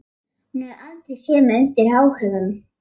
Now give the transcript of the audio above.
Hún hefur aldrei séð mig undir áhrifum.